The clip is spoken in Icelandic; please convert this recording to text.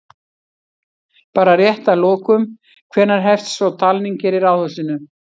Bara rétt að lokum, hvenær hefst svo talning hér í Ráðhúsinu?